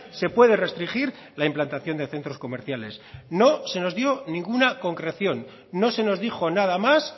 se puede restringir la implantación de centros comerciales no se nos dio ninguna concreción no se nos dijo nada más